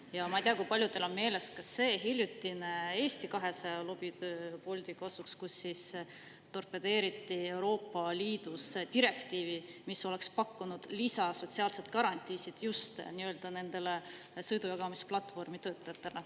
Ja ma ei tea, kui paljudel on meeles, ka see hiljutine Eesti 200 lobitöö Bolti kasuks, kus torpedeeriti Euroopa Liidu direktiivi, mis oleks pakkunud sotsiaalseid lisagarantiisid just nendele sõidujagamisplatvormide töötajatele.